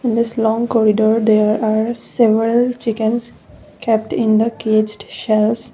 in this long corridor there are several chickens kept in the caged shelves.